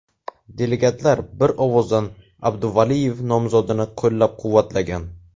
Delegatlar bir ovozdan Abduvaliyev nomzodini qo‘llab-quvvatlagan.